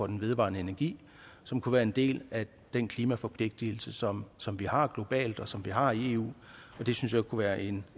den vedvarende energi som kunne være en del af den klimaforpligtelse som som vi har globalt og som vi har i eu det synes jeg kunne være en